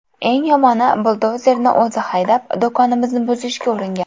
Eng yomoni buldozerni o‘zi haydab, do‘konimizni buzishga uringan.